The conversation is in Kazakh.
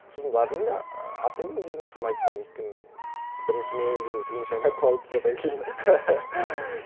сосын бардым да і атың кім дегенде соны айта салдым өйткені бірінші менеджерім тілін шайнап қалды содан кейін